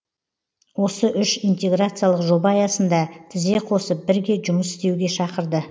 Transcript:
осы үш интеграциялық жоба аясында тізе қосып бірге жұмыс істеуге шақырды